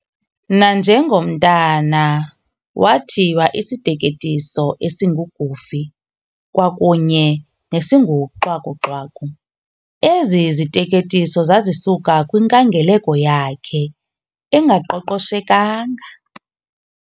Nanjengomntana wathiywa isiteketiso esingu-Goofy kwakunye nesinguXwaku-Xwaku, ezi ziteketiso zazisuka kwinkangeleko yakhe engaqoqoshekanga.